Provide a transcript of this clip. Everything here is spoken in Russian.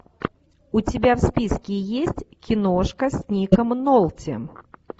у тебя в списке есть киношка с ником нолти